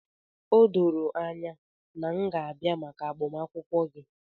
O doro anya na m ga-abịa maka agbamakwụkwọ gị.